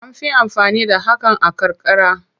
An fi amfani da hakan a karkara.